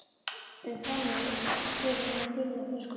um frammi fyrir þeirra gullna þröskuldi.